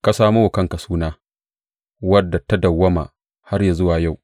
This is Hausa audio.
Ka samo wa kanka suna, wadda ta dawwama har yă zuwa yau.